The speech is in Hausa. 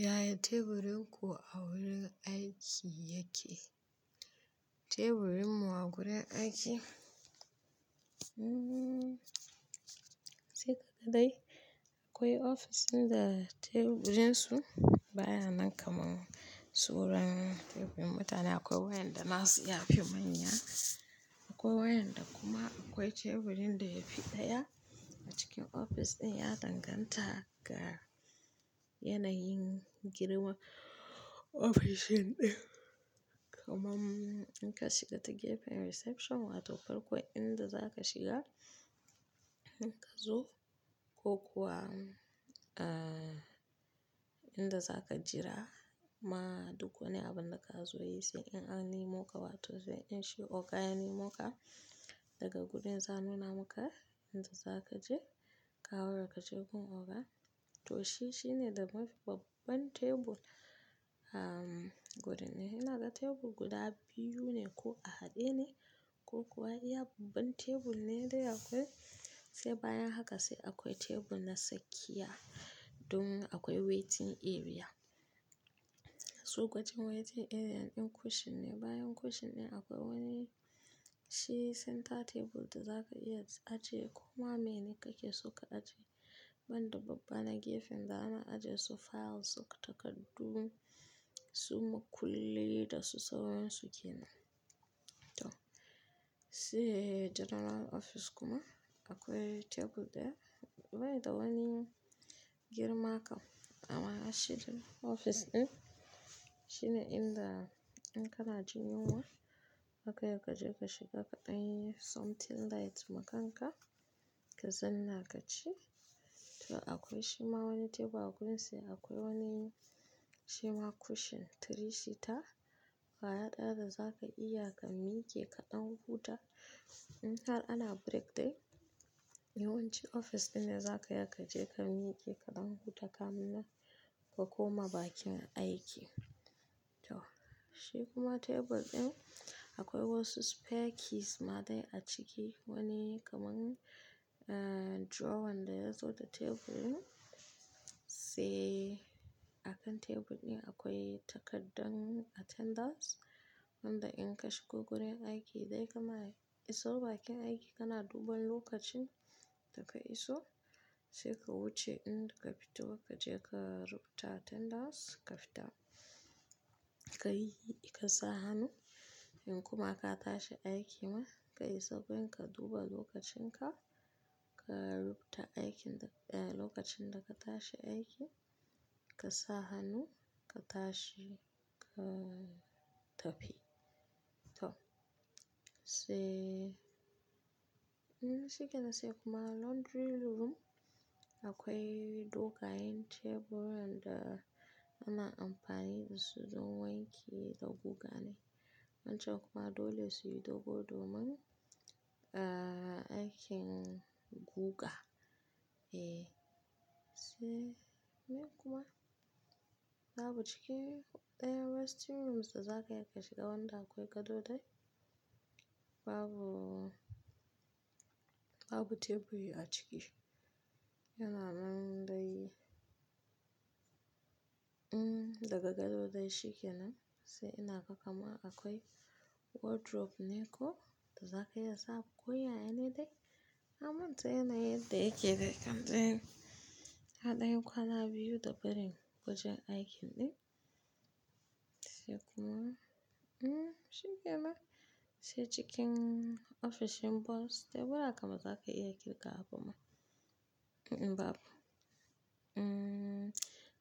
Yaya teburin ku a wurin aiki yake? Teburinmu a gurin aiki? Hmmm sai kada dai. Akwai ofis ɗin da teburinsu baya nan kaman suran teburin mutane. Akwai wayanda na su yafi manya akwai wayanda kuma akwai teburin da yafi ɗaya a cikin ofis ɗin ya danganta ga yanayin girman ofishin ɗin. Kaman in ka shiga ta gefen reception wato farko inda za ka shiga in ka zo ko kuwa, ahhh, inda za ka jira ma duk wani abinda ka zo yi sai in an nem ka wato sai in shi oga ya nemo ka daga gurin za'a nuna muka inda za ka je ka haura ka je gun oga to shi shine da mafi babban tebur, ahhh, gurin ne. Ina ga tebur guda biyu ne ko a haɗe ne ko kuwa ya babban tebur ne dai akwai sai bayan haka sai akwai tebur na tsakiya don akwai waiting area. Su ko can waiting area din cushion ne bayan cushion ɗin akwai wani shi center table da za ka iya aje koma meye ne kake so ka aje man da babba na gefen zamu aje su files su takardu su makullai da su sauran su kenan to sai general office kuma akwai tebur daya bai da wani girma kam amma shi din office din shine inda in kana jin yunwa zaka ya ka je ka shiga kaɗan yi something light makanka ka zanna ka ci. To akwai shima wani tebur a gurin sai akwai wani shima cushion three seater, kwaya ɗaya da za ka iya ka miƙe kaɗan huta in har ana break time yawanci ofis ɗin ne za ka iya ka je ka miƙe kaɗan huta kamin nan ka koma bakin aiki. Shi kuma tebur din akwai wasu spare keys ma dai a ciki wani kaman ahh drowan da yazo da teburin sai a kan tebur ɗin akwai takardar attendance inda in ka shigo gurin aiki dai kama iso bakin aiki kana duban lokacin da ka iso sai ka wuce inda ka fito lokaci ka rubuta attendance ka fita. Ka yi ka sa hannu in kuma ka tashi aiki man ka iso gun ka duba lokacin ka, ka rubuta aikin da, eh, lokacin da ka tashi aiki ka sa hannu ka tashi ka tafi. To sai, hmmm shikenan sai kuma laundry room akwai dogayen teburan da ana amfani dasu don wanke da guga ne wancan kuma dole su yi dogo domin, ahhh, aikin guga. Eh, sai meye kuma? Babu cikin daya resting rooms da za ka iya ka shiga wanda akwai gado dai babu, babu teburi a ciki. Yana nan dai, ummm daga gado dai shike nan sai ina ga kama akwai wardrobe ne ko da za ka iya sa ko yaya ne dai. Na manta yanayin yadda yake dai kam dai, na danyi kwana biyu da barin wurin aikin din sai kuma, ummm shikenan, sai cikin ofis din boss tebura kam baza ka iya kirgawa ba ma? Un-un babu. Hmmm